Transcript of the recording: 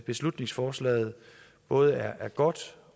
beslutningsforslaget både er godt